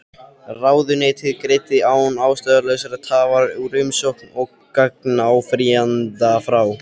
Ráðuneytið greiddi án ástæðulausrar tafar úr umsókn gagnáfrýjanda frá